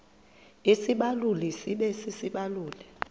isibaluli sibe sisibaluli